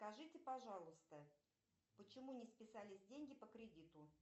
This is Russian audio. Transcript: скажите пожалуйста почему не списались деньги по кредиту